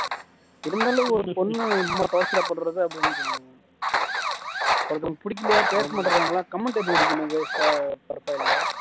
இருந்தாலும் ஒரு பொண்ணு இம்மா torture பண்றது அப்படீன்னு ஒருத்தவங்களுக்கு புடிக்கலையா பேச மாட்டேங்கறாங்களா comment எதுக்கு அடிக்கனும் waste ஆ profile ல